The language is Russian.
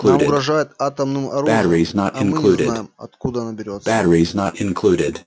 нам угрожают атомным оружием а мы не знаем откуда оно берётся